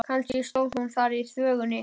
Kannski stóð hún þar í þvögunni.